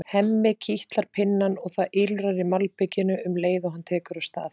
Hemmi kitlar pinnann og það ýlfrar í malbikinu um leið og hann tekur af stað.